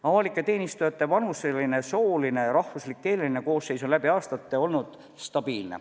Avalike teenistujate vanuseline, sooline ja rahvuslik-keeleline koosseis on läbi aastate olnud stabiilne.